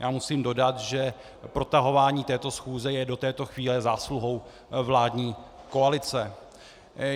Já musím dodat, že protahování této schůze je do této chvíle zásluhou vládní koalice.